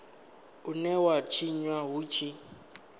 une wa tshinwa hu tshi